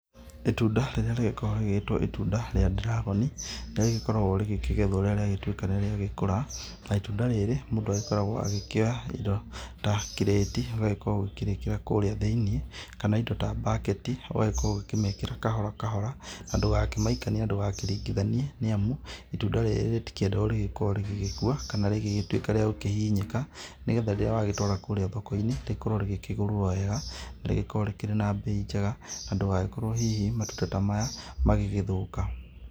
Itunda rĩrĩa rĩgĩkoragwo rĩgĩtwo itunda rĩa dragon nĩ rĩkoragwo rĩgĩkĩgethwo rĩrĩa riagĩtuĩka nĩ rĩagĩkũra. Na itunda rĩrĩ mũndũ agĩkoragwo agĩkĩoya indo ta kĩrĩti ũgagĩkorwo ũkĩrĩkĩra kũrĩa thĩinĩ, kana indo ta bucket. Ũgagĩkorwo ũgĩkĩmekĩra kahora kahora na ndũgakĩmaikanie na ndũgakĩringithanie. Nĩ amu itunda rĩrĩ rĩtikĩendaga rĩgakorwo rĩgĩkua kana rĩgĩtuĩka rĩagũkĩhihinyĩka, nĩ getha rĩrĩa wagĩtwra kũrĩa thoko-inĩ rĩkorwo rĩgĩkĩgũrwo wega. Na rĩkorwo rĩkĩrĩ na mbei njega na ndũgagĩkorwo hihi matunda ta maya magĩgĩthũka.